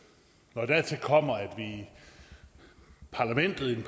når dertil kommer at parlamentet i den